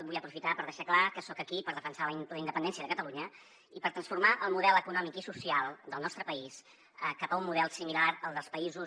vull aprofitar per deixar clar que soc aquí per defensar la independència de catalunya i per transformar el model econòmic i social del nostre país cap a un model similar al dels països